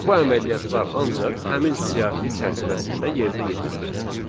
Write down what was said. Bu əməliyyatlar ancaq həmin siyahı çərçivəsində yerinə yetirilir.